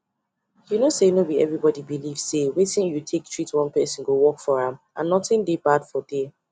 you know sayno be everybody belief say wetin you take treat one person go work for am and nothing dey bad for there